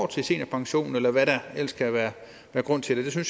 til seniorpensionen eller hvad der ellers kan være af grund til det